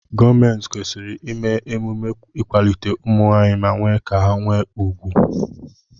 Gọọmenti kwesịrị ime emume ịkwalite ụmụnwaanyị ma mee ka ha nwee ùgwù.